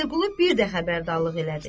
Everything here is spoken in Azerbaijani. Vəliqulu bir də xəbərdarlıq elədi.